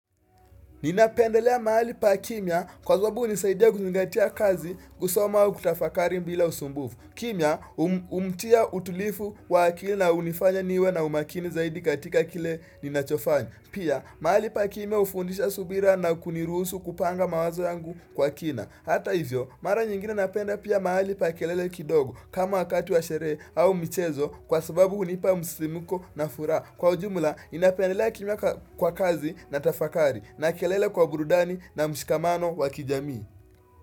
Ninapendelea mahali pa kimya kwa sababu hunisaidia kuzingatia kazi kusoma au kutafakari bila usumbufu. Kimia umtia utulivu wa akili na hunifanya niwe na umakini zaidi katika kile ninachofanya. Pia mahali pa kimya hufundisha subira na kuniruhusu kupanga mawazo yangu kwa kina. Hata hivyo, mara nyingine napenda pia mahali pa kelele kidogo kama wakati wa sherehe au michezo kwa sababu hunipa msisimko na furaha. Kwa ujumula, ninapendelea kimya kwa kazi na tafakari na kelele kwa burudani na mshikamano wa kijamii.